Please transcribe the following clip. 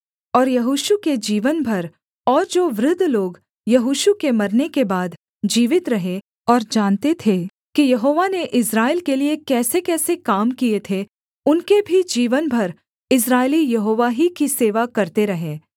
और यहोशू के जीवन भर और जो वृद्ध लोग यहोशू के मरने के बाद जीवित रहे और जानते थे कि यहोवा ने इस्राएल के लिये कैसेकैसे काम किए थे उनके भी जीवन भर इस्राएली यहोवा ही की सेवा करते रहे